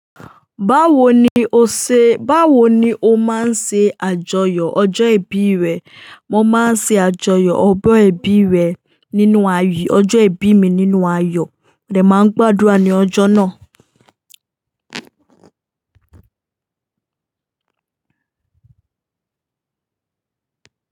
Báwo ni o ṣe, báwo ni o máa ń ṣe àjọyọ̀ ọjọ́ ìbí rẹ? Mo máa ń ṣe àjọyọ̀ ọjọ́ ìbí rẹ nínú ayọ́, ọjọ́ ìbí mi nínú ayọ̀. Rẹ̀ máa ń gbàdúrà ní ọjọ́ náà.